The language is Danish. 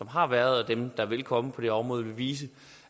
har været og dem der vil komme på det her område vil vise